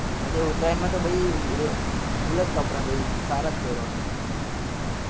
હા તે ઉતારાયણ માં તો તો ભાઈ પછી full જ કપડા પછી સારા જ પેરવા નાં